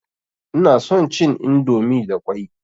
Ina son cin indomi da ƙwai.